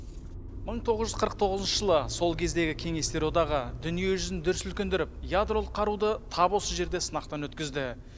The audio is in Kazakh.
мың тоғыз жүз қырық тоғызыншы жылы сол кездегі кеңестер одағы дүние жүзін дүр сілкіндіріп ядролық қаруды тап осы жерде сынақтан өткізді